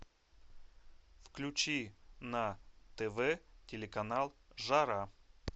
включи на тв телеканал жара